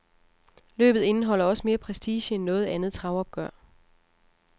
Løbet indeholder også mere prestige end noget andet travopgør.